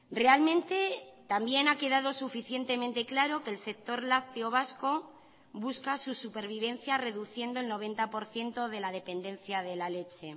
realmente también ha quedado suficientemente claro que el sector lácteo vasco busca su supervivencia reduciendo el noventa por ciento de la dependencia de la leche